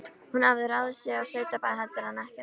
Hún hafði ráðið sig á sveitabæ heldur en ekkert.